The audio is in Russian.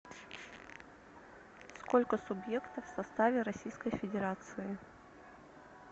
сколько субъектов в составе российской федерации